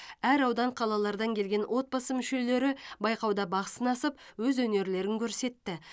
әр аудан қалалардан келген отбасы мүшелері байқауда бақ сынасып өз өнерлерін көрсетті